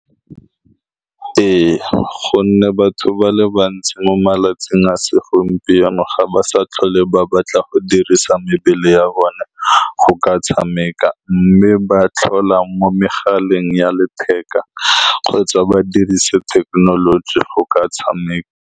Ee, ka gonne batho ba le bantsi mo malatsing a segompieno ga ba sa tlhole ba batla go dirisa mebele ya bone go ka tshameka, mme ba tlhola mo megaleng ya letheka kgotsa ba dirisa thekenoloji go ka tshameka.